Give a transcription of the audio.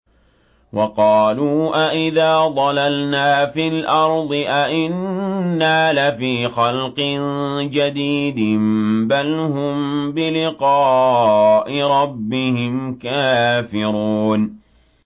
وَقَالُوا أَإِذَا ضَلَلْنَا فِي الْأَرْضِ أَإِنَّا لَفِي خَلْقٍ جَدِيدٍ ۚ بَلْ هُم بِلِقَاءِ رَبِّهِمْ كَافِرُونَ